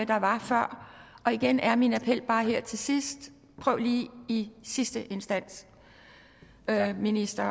der var før og igen er min appel bare her til sidst prøv lige i sidste instans minister